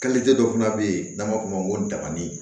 dɔ fana bɛ yen n'an b'a f'o ma ko dabani